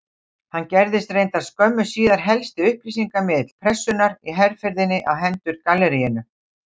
Hann gerðist reyndar skömmu síðar helsti upplýsingamiðill Pressunnar í herferðinni á hendur galleríinu.